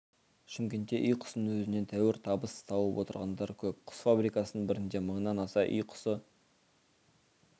шымкентте үй құсының өзінен тәуір табыс тауып отырғандар көп құс фабрикасының бірінде мыңнан аса үй құсы